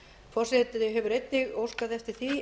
forseti hefur einnig óskað eftir því